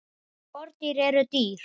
Skordýr eru dýr.